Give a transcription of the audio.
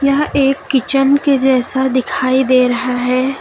यह एक किचन के जैसा दिखाई दे रहा है।